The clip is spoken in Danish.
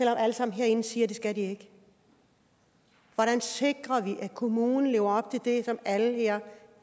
alle sammen herinde siger at det skal de ikke hvordan sikrer vi at kommunen lever op til det som alle her